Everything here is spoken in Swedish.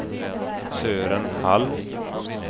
Sören Hall